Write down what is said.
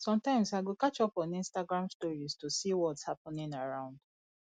sometimes i go catch up on instagram stories to see whats happening around